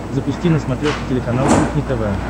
запусти на смотрешке телеканал кухня тв